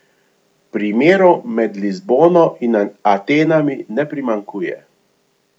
Primerov med Lizbono in Atenami ne primanjkuje.